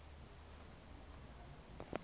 a dti ka manane a